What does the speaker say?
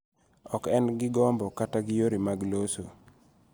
Ok en gi gombo kata gi yore mag loso.